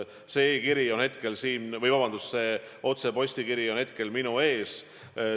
See otsepostitatav kiri on hetkel minu ees.